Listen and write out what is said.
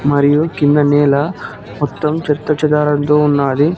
మరియు కింద నేల మొత్తం చెత్త చెదారాలతో ఉన్నాది.